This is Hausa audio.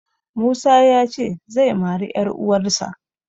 Musa ya ce zai mari 'yaruwarsa.